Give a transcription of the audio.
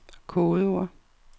kodeord